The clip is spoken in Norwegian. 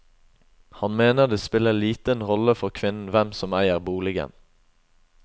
Han mener det spiller liten rolle for kvinnen hvem som eier boligen.